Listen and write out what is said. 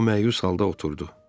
O məyus halda oturdu.